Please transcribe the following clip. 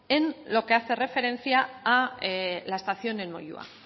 en lo que hace referencia a la estación en moyua